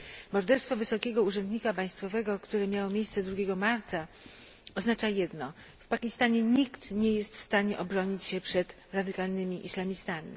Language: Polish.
Morderstwo wysokiego urzędnika państwowego, które miało miejsce dnia 2 marca oznacza jedno w Pakistanie nikt nie jest w stanie obronić się przed radykalnymi islamistami.